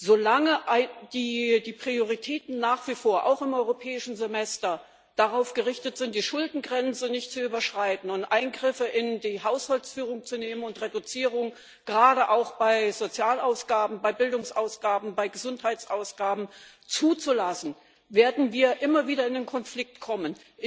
Solange die Prioritäten nach wie vor auch im Europäischen Semester darauf gerichtet sind, die Schuldengrenze nicht zu überschreiten, Eingriffe in die Haushaltsführung vorzunehmen und Kürzungen, gerade auch bei Sozial Bildungs und Gesundheitsausgaben, zuzulassen, werden wir immer wieder in einen Konflikt kommen.